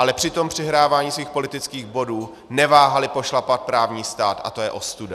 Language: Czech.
Ale při tom přihrávání svých politických bodů neváhali pošlapat právní stát a to je ostuda.